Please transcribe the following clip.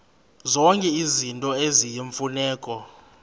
zonke izinto eziyimfuneko